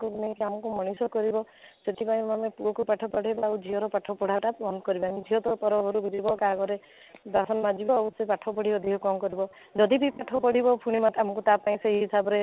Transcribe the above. ଆଗକୁ ନେଇକି ଆମକୁ ମଣିଷ କରିବ ସେଠି ପାଇଁ ମାନେ ପୁଅକୁ ପାଠ ପଢ଼େଇବେ ଆଉ ଝିଅର ପାଠ ପଢ଼ାଟା ବନ୍ଦ କରିବେ ସିଏ ତ ପରା ଘରକୁ ଯିବ କାହା ଘରେ ବାସନ ମାଜିବ ଆଉ ସେ ପାଠ ପଢ଼ି ଅଧିକ କ'ଣ କରିବ ଯଦିବା ପାଠ ପଢିବ ଫୁଣି ସେ ତା ହିସାବରେ